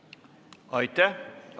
Aitäh!